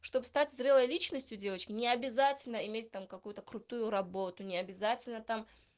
чтоб стать зрелой личностью девочки не обязательно иметь там какую-то крутую работу не обязательно там